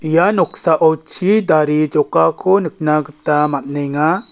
ia noksao chidare jokako nikna gita man·enga.